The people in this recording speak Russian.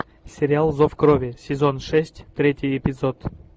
сериал зов крови сезон шесть третий эпизод